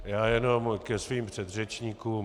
Já jenom ke svým předřečníkům.